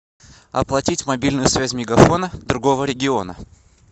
оплатить мобильную связь мегафона другого региона